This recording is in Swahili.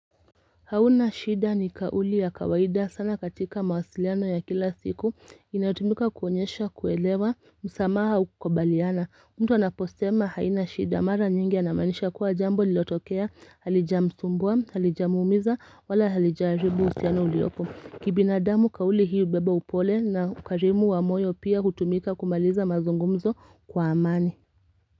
Hauna shida ni kauli ya kawaida sana katika mawasiliano ya kila siku inatumika kuonyesha kuelewa msamaha ukubaliana. Mtu anaposema haina shida mara nyingi anamanisha kuwa jambo lililotokea, halijamsumbua, halijamumiza wala halijaribu uhusiano uliopo. Kibinadamu kauli hii hubeba upole na ukarimu wa moyo pia hutumika kumaliza mazungumzo kwa amani.